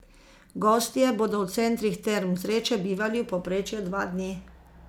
Gostje bodo v centrih Term Zreče bivali v povprečju dva dni.